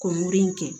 Kɔnlu in kɛ